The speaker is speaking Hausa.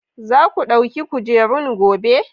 Za ku ɗauki kujerun gobe?